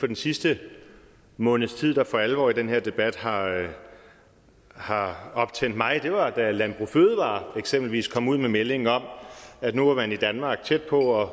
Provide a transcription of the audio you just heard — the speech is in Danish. den sidste måneds tid der for alvor i den her debat har har optændt mig var da landbrug fødevarer eksempelvis kom ud med meldingen om at nu var man i danmark tæt på at